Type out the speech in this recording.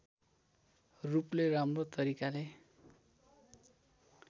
रूपले राम्रो तरिकाले